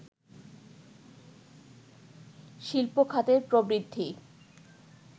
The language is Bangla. শিল্প খাতের প্রবৃদ্ধি